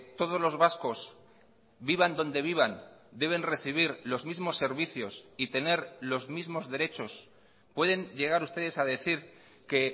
todos los vascos vivan donde vivan deben recibir los mismos servicios y tener los mismos derechos pueden llegar ustedes a decir que